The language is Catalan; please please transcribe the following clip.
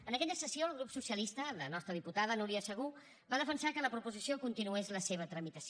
en aquella sessió el grup socialista la nostra diputada núria segú va defensar que la proposició continués la seva tramitació